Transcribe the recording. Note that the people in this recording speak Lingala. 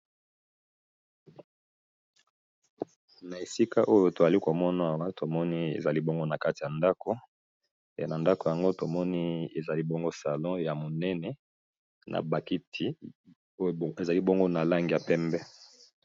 Na esika oyo toali ko mona awa tomoni ezalî bongo na kati ya ndako pe na ndako yango tomoni ezali bongo salon ya monene na ba kiti oyo ezali bongo na langi ya pembe.